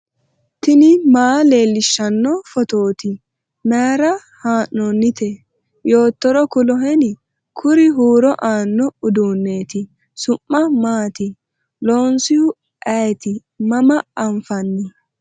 tini maa leellishshanno phootooti mayra haa'noonnite yoottoro kuloheni ? kuri huuro aanno uduunneeti . su'ma maati ? loonsu ayeti maama anfanni ?